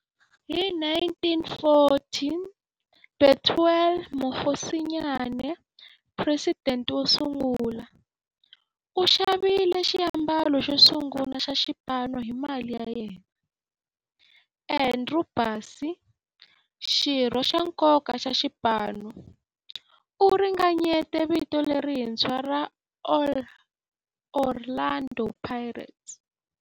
Hi 1940, Bethuel Mokgosinyane, president wosungula, u xavile xiambalo xosungula xa xipano hi mali ya yena. Andrew Bassie, xirho xa nkoka xa xipano, u ringanyete vito lerintshwa ra 'Orlando Pirates'.